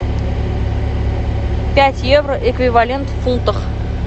пять евро эквивалент в фунтах